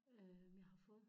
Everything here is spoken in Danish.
Øh jeg har fået